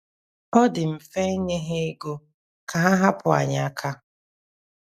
Ọ dị mfe inye ha ego ka ha hapụ anyị aka..